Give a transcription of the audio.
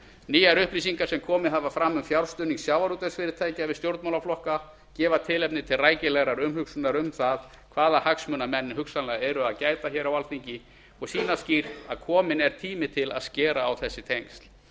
nýjar upplýsingar sem komið hafa fram um fjárstuðning sjávarútvegsfyrirtækja við stjórnmálaflokka gefa tilefni til rækilegrar umhugsunar um það hvaða hagsmuna menn hugsanlega eru að gæta hér á alþingi og sýna skýrt að kominn er tími til að skera á þessi tengsl